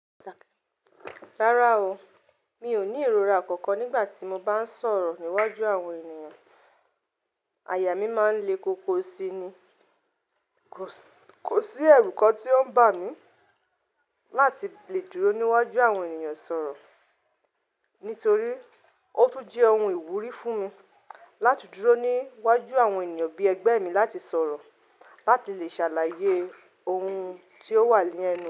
Rárá o, mi ò ní ìrora kankan nígbà tí mo bá ń sọ̀rọ̀ níwájú àwọn ènìyàn. Àyà mí máa ń le koko sí ni. Kò sí ẹrú kan tí ó ń bà mí láti le dúró níwájú àwọn ènìyàn sọ̀rọ̀. Nítorí, ó tún jẹ́ ohun ìwúrí fún mi láti dúró níwájú àwọn ènìyàn bí ẹgbẹ́ mi láti sọ̀rọ̀, láti lè ṣàlàyé ohun tí ó wà ní ẹnu.